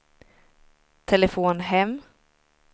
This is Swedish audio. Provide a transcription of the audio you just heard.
telefon hem